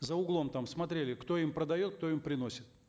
за углом там смотрели кто им продает кто им приносит